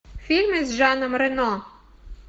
фильмы с жаном рено